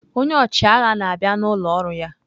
Onye ọchịagha na-abịa n'ụlọ ọrụ ya.